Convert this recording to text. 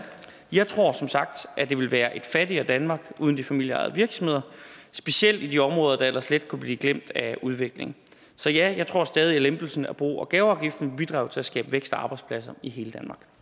jeg tror som sagt at det vil være et fattigere danmark uden de familieejede virksomheder specielt i de områder der ellers let kunne blive klemt af udviklingen så ja jeg tror stadig at lempelsen af bo og gaveafgiften bidrager til at skabe vækst og arbejdspladser i hele